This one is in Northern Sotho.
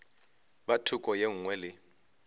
ka thoko e nngwe le